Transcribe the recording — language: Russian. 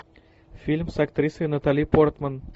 фильм с актрисой натали портман